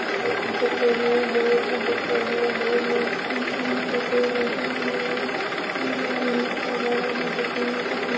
दिख रही है। रोड भी दिख रही हैं। रोड की जिनके पेड़ लगी हुए हैं। इंडिया लीफ वगेरा भी लगी हुई है कुछ --